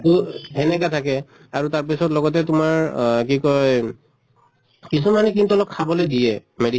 তহ এনেকা থাকে আৰু তাৰ পিছত লগতে তোমাৰ আহ কি কয় কিছুমানে কিন্তু অলপ খাবলৈ দিয়ে medi